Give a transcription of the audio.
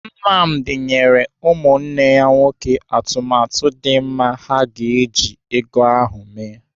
Nnamdi nyere ụmụnne ya nwoke atụmatụ dị mma ha ga-eji ego ha eme.